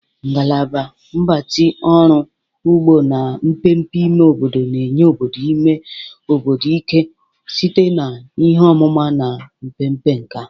Ngalaba Mgbatị Ọrụ ugbo na mmepe ime obodo na-enye obodo ime obodo ike site na ihe ọmụma na mmepe nkà.